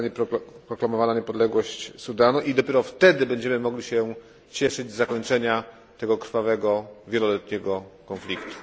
kiedy zostanie proklamowana niepodległość Sudanu i dopiero wtedy będziemy mogli cieszyć się z zakończenia tego krwawego wieloletniego konfliktu.